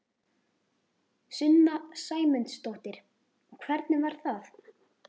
Sunna Sæmundsdóttir: Og hvernig var það?